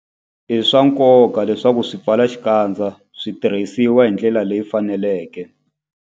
I swa nkoka leswaku swipfalaxikandza swi tirhisiwa hi ndlela leyi faneleke.